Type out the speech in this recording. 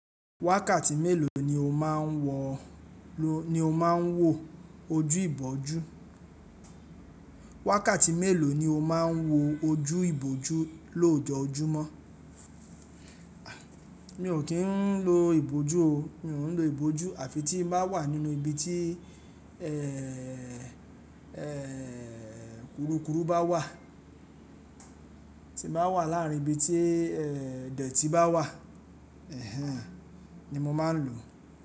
Wákàtí mélòó ni o máa ń wọ, ni o máa ń wọ ojú ìbòjú? Wákàtí mélòó ni o máa ń wọ ojú ìbòjú lójoojúmọ́? Mi ò kín ń lo ìbòjú o, mi ò ń lo ìbòjú àfi tí mo bá wà nínú ibi tí ẹ, kurukuru bá wà, tí mo bá wà láàárín ibi tí ẹ dẹ̀tí bá wà, ẹhẹ́n ni mo máa ń lò.